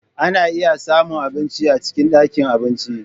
Ana iya samun abinci a cikin ɗakin abinci.